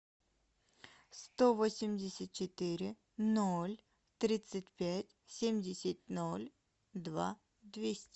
сто восемьдесят четыре ноль тридцать пять семьдесят ноль два двести